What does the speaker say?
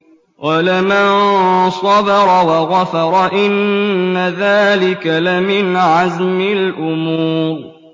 وَلَمَن صَبَرَ وَغَفَرَ إِنَّ ذَٰلِكَ لَمِنْ عَزْمِ الْأُمُورِ